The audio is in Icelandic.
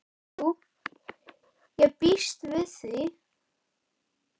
Jú, ég býst við því.